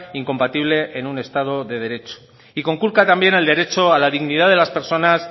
incompatible en un estado de derecho y conculca también al derecho a la dignidad de las personas